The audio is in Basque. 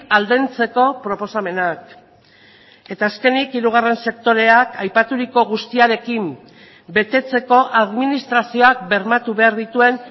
aldentzeko proposamenak eta azkenik hirugarren sektoreak aipaturiko guztiarekin betetzeko administrazioak bermatu behar dituen